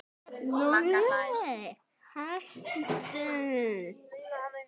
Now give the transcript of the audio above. Lúlli, hættu.